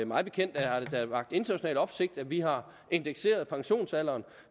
mig bekendt har det da vakt international opsigt at vi har indekseret pensionsalderen